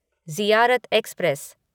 Ziarat express